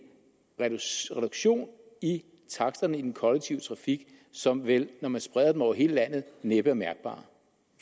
reduktion i taksterne i den kollektive trafik som vel når man spreder dem over hele landet næppe er mærkbar